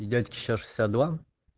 и дядьке сейчас шестьдесят два